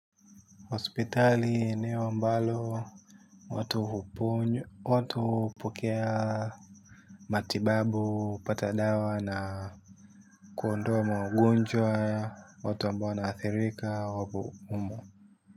Hospitali ndiyo ambalo, watu hupokea matibabu, hupata dawa na kuondoa maugonjwa, watu ambao wanaathirika, wapo humo.